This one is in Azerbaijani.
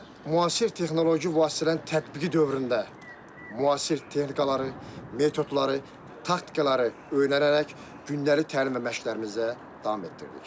Və müasir texnoloji vasitələrin tətbiqi dövründə müasir texnikaları, metodları, taktikaları öyrənərək gündəlik təlim və məşqlərimizə davam etdirdik.